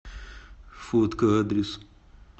фотка адрес